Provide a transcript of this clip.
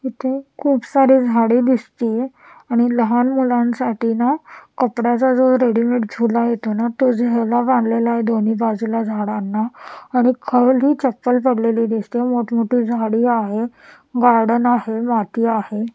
इथे खूप सारे झाडे दिसतीये आणि लहान मुलांसाठी ना कपड्याचा जो रेडिमेड झुला येतो ना तो झुला बांधलेला आहे दोन्ही बाजूला झाडांना आणि खाली चप्पल पडलेली दिसतंय मोठमोठी झाडी आहे गार्डन आहे माती आहे.